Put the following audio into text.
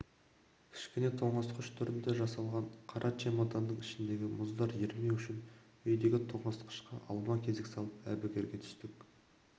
кішкене тоңазытқыш түрінде жасаған қара чемоданның ішіндегі мұздар ерімеу үшін үйдегі тоңазытқышқа алма-кезек салып әбігерге түстік